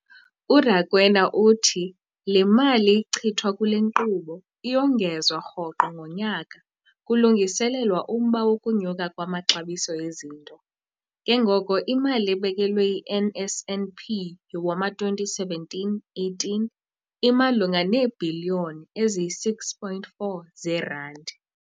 URakwena uthi le mali ichithwa kule nkqubo iyongezwa rhoqo ngonyaka kulungiselelwa umba wokunyuka kwamaxabiso ezinto, ke ngoko imali ebekelwe i-NSNP yowama-2017, 18 imalunga neebhiliyoni eziyi-6.4 zeerandi.